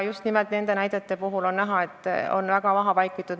Just nimelt nende näidete puhul on näha, et need asjad on väga maha vaikitud.